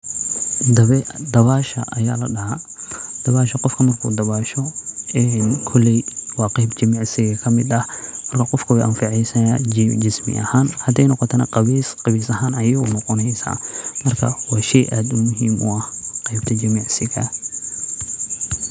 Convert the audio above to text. Dabasha ayaa ladahaa, koleey waa qeeb jimicsi kamid ah, hadii kalena qawees ayeey unoqoneysa, waa shey aad muhiim u ah qeebta jimicsiga.